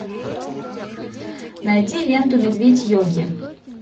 найди ленту медведь йоги